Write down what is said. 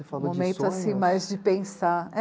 falou de sonhos. Momento, assim, mais de pensar. É